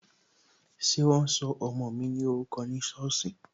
Ṣé wọn sọ ọmọ ní orúkọ ní sọ́ọ̀sì?